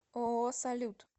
ооо салют